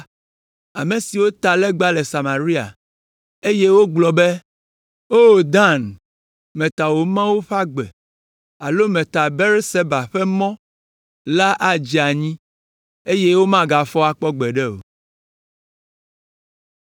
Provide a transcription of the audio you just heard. Ame siwo ta legba si le Samaria, eye wogblɔ be, ‘O Dan, meta wò mawu ƒe agbe alo meta Beerseba ƒe mɔ la adze anyi, eye womagafɔ akpɔ gbeɖe o.’ ”